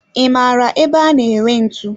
I maara ebe a na ere ntu?